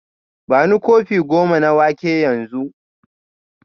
Bani kofi goma na wake yanzu